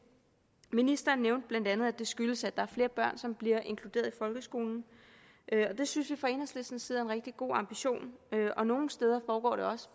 ministeren nævnte bla at det skyldes at der er flere børn som bliver inkluderet i folkeskolen det synes vi fra enhedslistens side er en rigtig god ambition og nogle steder foregår det også